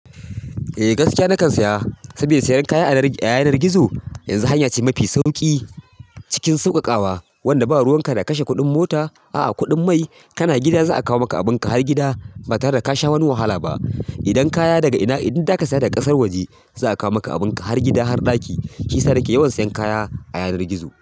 Eh gaskiya na kan saya, sabida siyan kaya a yanar gizo yanzu hanya ce mafi sauƙi cikin sauƙaƙawa wanda ba ruwan ka na kashe kuɗin mota, a'a kuɗin mai. Kana gida za'a kawo maka abin ka har gida ba tare da ka sha wani wahala ba. Idan kaya daga ina, idan za ka saya daga ƙasar waje za'a kawo maka abin ka har gida, har ɗaki. Shiyasa nake yawan siyan kaya a yanar gizo.